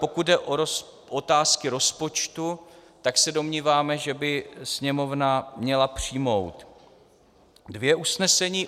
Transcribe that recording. Pokud jde o otázky rozpočtu, tak se domníváme, že by Sněmovna měla přijmout dvě usnesení.